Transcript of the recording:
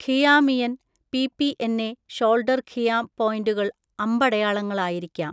ഖിയാമിയൻ, പിപിഎൻ എ ഷോൾഡർ ഖിയാം പോയിന്റുകൾ അമ്പടയാളങ്ങളായിരിക്കാം.